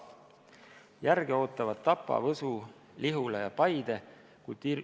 Järge ootavad Tapa, Võsu, Lihula ja Paide.